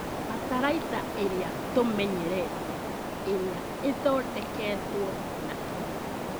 Bataraitha ĩrĩa tũmenyerete iria ĩthondeketwo na kĩmĩko